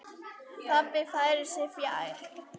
Pabbi færir sig fjær.